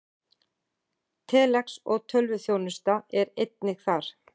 Telex og tölvuþjónusta er einnig þar.